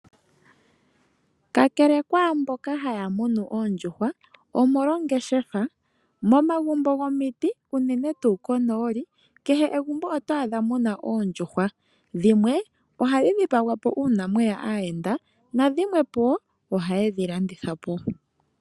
Kakele kwaamboka haya munu oondjuhwa omolwa ongeshefa, momagumbo gomiti, unene tuu konooli, kehe megumbo oto adha mu na oondjuhwa. Dhimwe ohadhi dhipagwa po uuna mwe ya aayenda nadhimwe po ohaye dhi landhitha po.